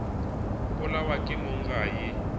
polawa ke mong ga e